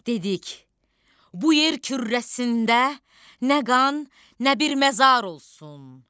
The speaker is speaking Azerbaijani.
Dedik: "Bu yer kürrəsində nə qan, nə bir məzar olsun.